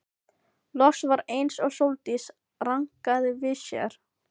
Loks var eins og Sóldís rankaði við sér.